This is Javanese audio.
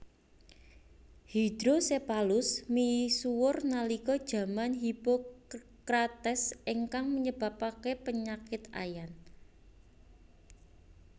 Hydrocephalus misuwur nalika jaman Hipocrates ingkang nyebabaken penyakit Ayan